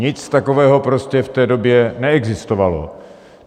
Nic takového prostě v té době neexistovalo.